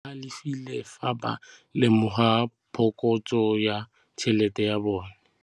Badiri ba galefile fa ba lemoga phokotsô ya tšhelête ya bone.